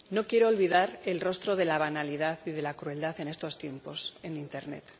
No quiero olvidar el rostro de la banalidad y de la crueldad en estos tiempos en internet.